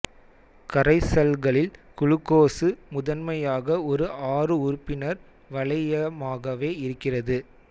கரைசல்களில் glucose முதன்மையாக ஒரு ஆறு உறுப்பினர் வளையமாகவே இருக்கிறது